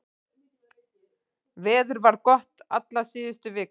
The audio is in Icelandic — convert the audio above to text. Veður var gott alla síðustu viku